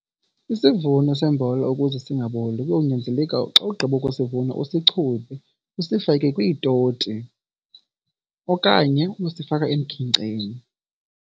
Isivuno sombona ukuze singaboli kuyawunyanzeleka xa ugqiba ukusivuna usichube usifake kwiitoti okanye uyosifaka emkhenkceni.